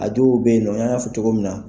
A dɔw bɛ yen nɔ n y'a fɔ cogo min na.